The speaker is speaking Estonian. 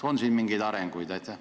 On siin mingeid arenguid?